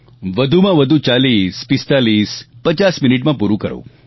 વધુમાં વધુ 404550 મિનિટમાં પૂરું કરું